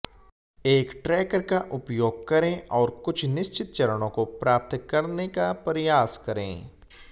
एक ट्रैकर का उपयोग करें और कुछ निश्चित चरणों को प्राप्त करने का प्रयास करें